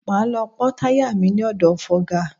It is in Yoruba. Máa lọ pọ́ táyà mi ní ọ̀dọ̀ fọga.